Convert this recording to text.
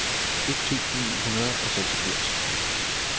et tusind ni hundrede og seksogfirs